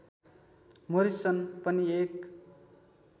Morrison पनि एक